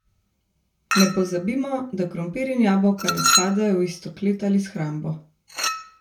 Ne pozabimo, da krompir in jabolka ne spadajo v isto klet ali shrambo.